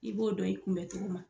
I b'o dɔn i kunbɛn cogo la.